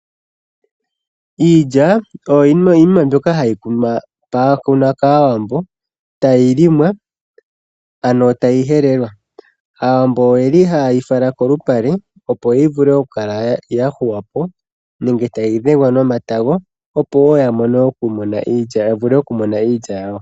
Iilya oyo yimwe mbyoka hayi kunwa kaawambo, tayi limwa ano tayi helelwa. Aawambo ohaye yi fala kolupale opo yivule okuhuwa po nenge tayi dhengwa nomatago opo ya vule okumona iilya yawo.